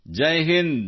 Jai Hind